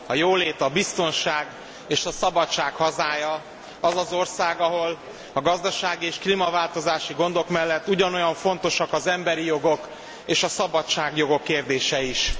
A jólét, a biztonság és a szabadság hazája az az ország, ahol a gazdasági és klímaváltozási gondok mellett ugyanolyan fontos az emberi jogok és a szabadságjogok kérdése is.